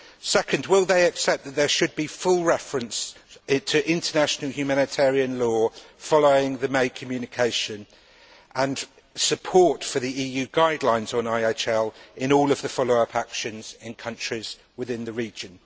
Secondly, will they accept that there should be full reference to international humanitarian law following the May communication, and support for the EU guidelines on IHL in all of the follow up actions in countries within the region?